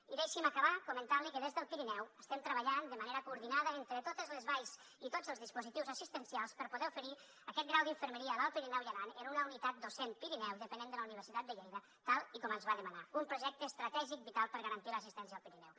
i deixi’m acabar comentant li que des del pirineu estem treballant de manera coordinada entre totes les valls i tots els dispositius assistencials per poder oferir aquest grau d’infermeria a l’alt pirineu i aran en una unitat docent pirineu dependent de la universitat de lleida tal com ens va demanar un projecte estratègic vital per garantir l’assistència al pirineu